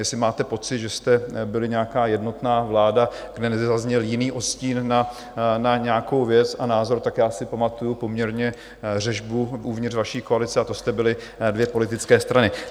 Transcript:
Jestli máte pocit, že jste byli nějaká jednotná vláda, kde nezazněl jiný odstín na nějakou věc a názor, tak já si pamatuji poměrně řežbu uvnitř vaší koalice, a to jste byly dvě politické strany.